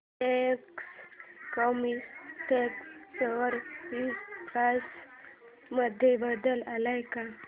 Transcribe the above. Reliance Chemotex share price मध्ये बदल आलाय का